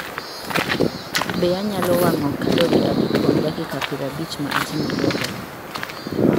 Be anyalo wang�o kalori adi kuom dakika piero abich ma atimo yoga?